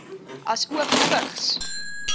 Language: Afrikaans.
asook vigs